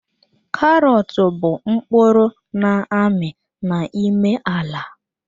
Karọt bụ mkpụrụ n'ami n'ime ala.